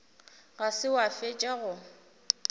ga se wa fetša go